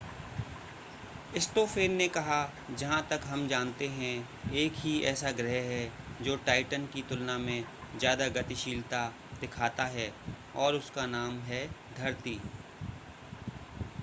Stoffen ने कहा जहां तक हम जानते हैं एक ही ऐसा ग्रह है जो टाइटन की तुलना में ज़्यादा गतिशीलता दिखाता है और उसका नाम है धरती